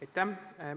Aitäh!